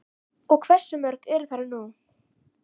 Og hversu mörg eru þau nú?